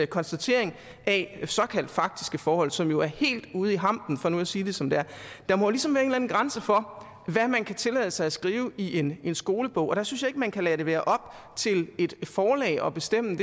konstatering af såkaldt faktiske forhold som jo er helt ude i hampen for nu at sige det som det er der må ligesom være en grænse for hvad man kan tillade sig at skrive i en skolebog og det synes jeg ikke man kan lade det være op til et forlag at bestemme